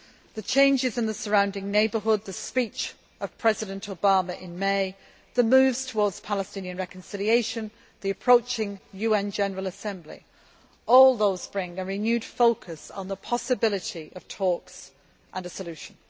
The changes in the surrounding neighbourhood, the speech of President Obama in May, the moves towards Palestinian reconciliation, the approaching UN General Assembly all those bring a renewed focus on the possibility of talks and a solution.